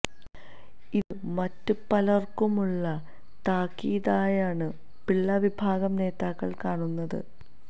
ഇത് മറ്റ് പലര്ക്കും ഉള്ള താക്കീതായാണ് പിള്ള വിഭാഗം നേതാക്കള് കാണുന്നത്